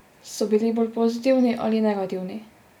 So bili bolj pozitivni ali negativni?